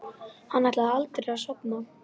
Hann ætlaði aldrei að sofna.